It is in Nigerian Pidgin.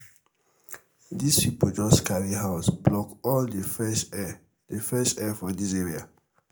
dis pipo jus carry house block all di fresh air di fresh air for dis area.